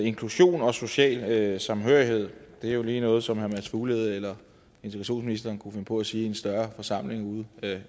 inklusion og social samhørighed det er jo lige noget som herre mads fuglede eller integrationsministeren kunne finde på at sige i en større forsamling ude